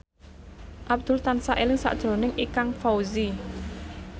Abdul tansah eling sakjroning Ikang Fawzi